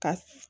Ka